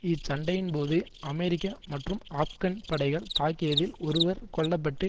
இச்சண்டையின்போது America மற்றும் ஆப்கான் படைகள் தாக்கியதில் ஒருவர் கொல்ல பட்டு